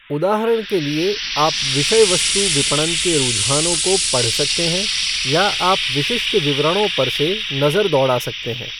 उदाहरण के लिए, आप विषयवस्तु विपणन के रुझानों को पढ़ सकते हैं, या आप विशिष्ट विवरणों पर से नजर दौड़ा सकते हैं।